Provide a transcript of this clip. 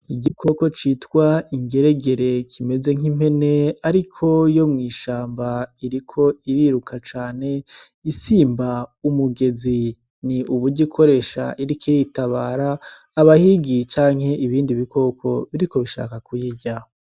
Igikoko citwa ingeregere kimeze nk'impene ariko yo mw'ishamba, iriko iriruka cane isimba umugezi. Ni uburyo ikoresha iriko iritabara abahigi canke ibindi bikoko biriko birashaka kuyirya.